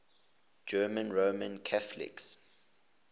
german roman catholics